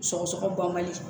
Sɔgɔsɔgɔ ban man di